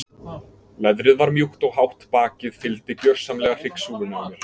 Leðrið var mjúkt og hátt bakið fylgdi gjörsamlega hryggsúlunni á mér.